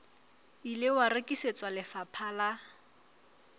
ile wa rekisetswa lefapha la